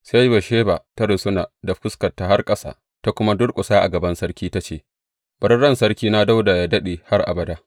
Sai Batsheba ta rusuna da fuskarta har ƙasa, ta kuma durƙusa a gaban sarki ta ce, Bari ran Sarkina Dawuda yă daɗe, har abada!